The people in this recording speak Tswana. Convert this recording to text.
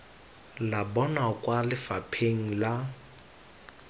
la bona kwa lefapheng la